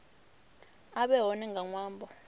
a vhe hone nga ṅwambo